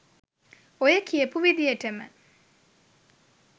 ඔය කියපු විදියටම